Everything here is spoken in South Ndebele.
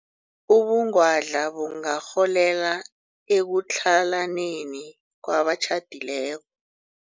Ubungwadla bungarholela ekutlhalaneni kwabatjhadileko.